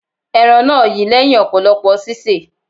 Ẹran náà yi lẹ́hìn ọ̀pọ̀lọpọ̀ sísè.